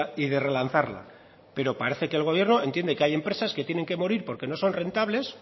y de relanzarla pero parece que el gobierno entiende que hay empresas que tienen que morir porque no son rentables